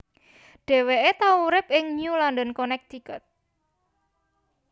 Dheweke tau urip ing New London Connecticut